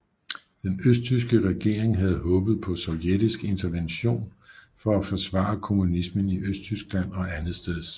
Den østtyske regering havde håbet på sovjetisk intervention for at forsvare kommunismen i Østtyskland og andetsteds